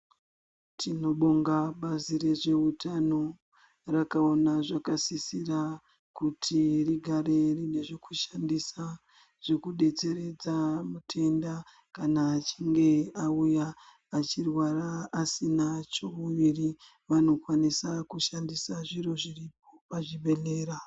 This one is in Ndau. Tinobonga bazi rezveutano rakavana zvakasisira kuti rigare rine zvekushandisa zvekubetseredza matenda kana achinge auya. Achirwara asina cheuviri vanokwanisa kushandisa zviro zviripo pachibhedhlera.